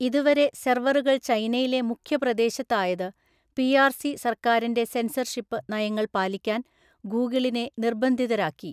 ഇതുവരെ സെർവറുകൾ ചൈനയിലെ മുഖ്യപ്രദേശത്തായത് പി ആര്‍ സി സർക്കാരിന്റെ സെൻസർഷിപ്പ് നയങ്ങൾ പാലിക്കാൻ ഗൂഗിളിനെ നിർബന്ധിതരാക്കി.